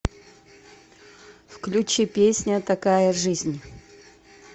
включи песня такая жизнь